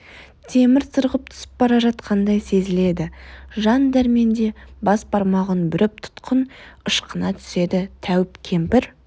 темір сырғып түсіп бара жатқандай сезіледі жан дәрменде бас бармағын бүріп тұтқын ышқына түседі тәуіп кемпір